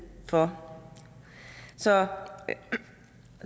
for så